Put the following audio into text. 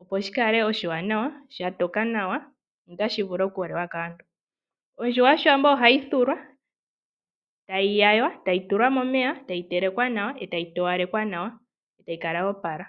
opo shi kale oshiwanawa shatoka nawa notashi vulu oku liwa kaantu. Ondjuhwa yoshiwambo ohayi thulwa e tayi yaywa e tayi tulwa momeya, tayi telekwa, tayi towalekwa nawa e tayi kala yoopala.